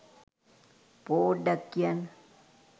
පෝඩ්ඩක් කියන්න